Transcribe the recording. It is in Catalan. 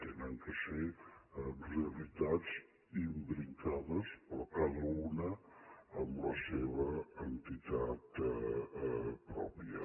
han de ser realitat imbricades però cada una amb la seva entitat pròpia